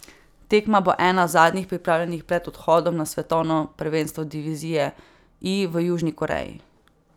Tekma bo ena zadnjih pripravljalnih pred odhodom na svetovno prvenstvo divizije I v Južni Koreji.